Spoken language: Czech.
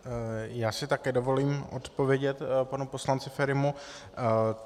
Já si také dovolím odpovědět panu poslanci Ferimu.